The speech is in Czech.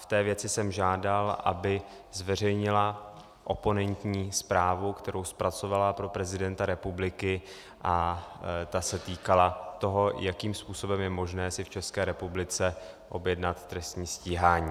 V té věci jsem žádal, aby zveřejnila oponentní zprávu, kterou zpracovala pro prezidenta republiky, a ta se týkala toho, jakým způsobem je možné si v České republice objednat trestní stíhání.